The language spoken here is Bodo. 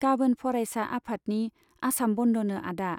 गाबोन फरायसा आफादनि आसाम बन्ध'नो आदा।